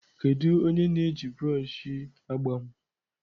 Kedu onye na-eji broọdhị agba m?